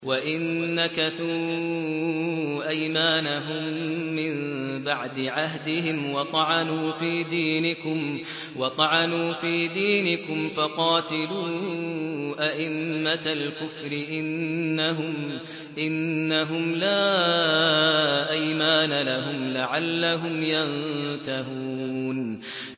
وَإِن نَّكَثُوا أَيْمَانَهُم مِّن بَعْدِ عَهْدِهِمْ وَطَعَنُوا فِي دِينِكُمْ فَقَاتِلُوا أَئِمَّةَ الْكُفْرِ ۙ إِنَّهُمْ لَا أَيْمَانَ لَهُمْ لَعَلَّهُمْ يَنتَهُونَ